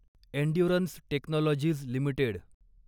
endurance technologies limited